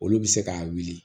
Olu bɛ se k'a wuli